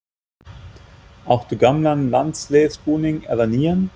Áttu gamlan landsliðsbúning, eða nýjan?